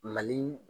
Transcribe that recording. Mali